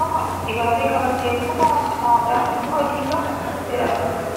tokko dibaabee qabattee, uffata aadaa halluu adii qabu uffattee dhaabbatti.